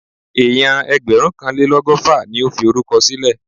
Èèyàn ẹgbẹ̀rúnkanlélọ́gọ́fà ni ó fi orúkọ sílẹ̀